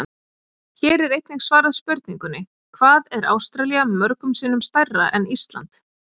Hér er einnig svarað spurningunni: Hvað er Ástralía mörgum sinnum stærra en Ísland?